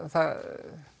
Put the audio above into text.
það